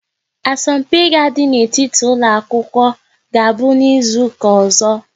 Asọmpi ga àdi n'etiti ụlọ akwụkwọ ga-abụ n'izuka ọzọ